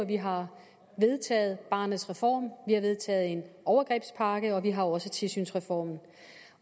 vi har vedtaget barnets reform vi har vedtaget en overgrebspakke og vi har også tilsynsreformen